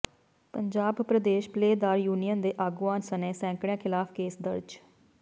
ਪੰਜਾਬ ਪ੍ਰਦੇਸ਼ ਪੱਲੇਦਾਰ ਯੂਨੀਅਨ ਦੇ ਆਗੂਆਂ ਸਣੇ ਸੈਂਕੜਿਆਂ ਖ਼ਿਲਾਫ਼ ਕੇਸ ਦਰਜ